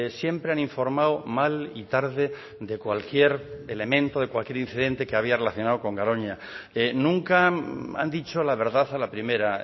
siempre han informado mal y tarde de cualquier elemento de cualquier incidente que había relacionado con garoña nunca han dicho la verdad a la primera